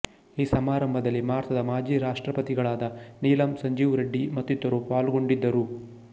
ಈ ಸಮಾರಂಭದಲ್ಲಿ ಭಾರತದ ಮಾಜಿ ರಾಷ್ಟ್ರಪತಿಗಳಾದ ನೀಲಂ ಸಂಜಿವರೆಡ್ಡಿ ಮತ್ತಿತರರು ಪಾಲ್ಗೊಂಡಿದರು